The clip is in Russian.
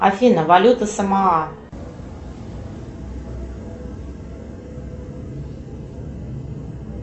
афина валюта самоа